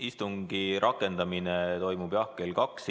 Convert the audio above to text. Istungi rakendamine toimub, jah, kell kaks.